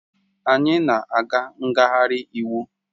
Anyị na-aga ngagharị iwu